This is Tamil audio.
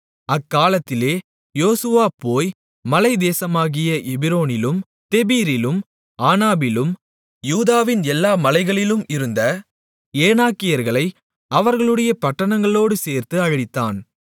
அக்காலத்திலே யோசுவா போய் மலைத்தேசமாகிய எபிரோனிலும் தெபீரிலும் ஆனாபிலும் யூதாவின் எல்லா மலைகளிலும் இருந்த ஏனாக்கியர்களை அவர்களுடைய பட்டணங்களோடு சேர்த்து அழித்தான்